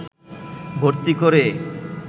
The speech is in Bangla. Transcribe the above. ভর্তি করে